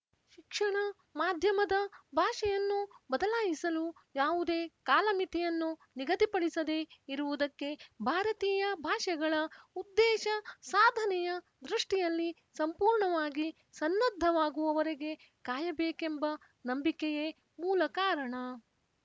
ಶಿಕ್ಷಣ ಮಾಧ್ಯಮದ ಭಾಷೆಯನ್ನು ಬದಲಾಯಿಸಲು ಯಾವುದೇ ಕಾಲಮಿತಿಯನ್ನು ನಿಗದಿಪಡಿಸದೆ ಇರುವುದಕ್ಕೆ ಭಾರತೀಯ ಭಾಷೆಗಳ ಉದ್ದೇಶ ಸಾಧನೆಯ ದೃಷ್ಟಿಯಲ್ಲಿ ಸಂಪೂರ್ಣವಾಗಿ ಸನ್ನದ್ಧವಾಗುವವರೆಗೆ ಕಾಯಬೇಕೆಂಬ ನಂಬಿಕೆಯೇ ಮೂಲಕಾರಣ